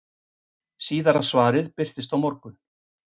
Síðara svarið birtist á morgun.